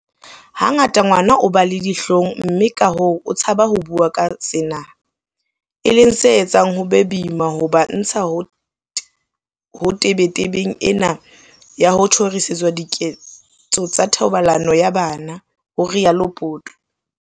"Hangata ngwana o ba le dihlong mme kahoo o tshaba ho bua ka sena, e leng se etsang hore ho be boima ho ba ntsha ho tebetebeng ena ya ho tjhorisetswa diketso tsa thobalano ya bana," ho rialo Poto.